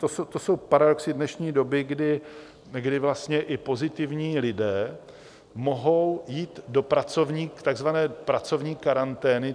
To jsou paradoxy dnešní doby, kdy vlastně i pozitivní lidé mohou jít do takzvané pracovní karantény.